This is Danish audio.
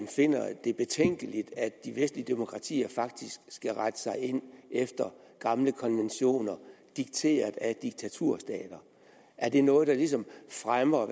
finder det betænkeligt at de vestlige demokratier faktisk skal rette sig ind efter gamle konventioner dikteret af diktaturstater er det noget der ligesom fremmer